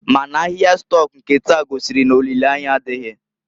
Ma n'ahịa stọk nke taa gosiri n'olile anya adịghị.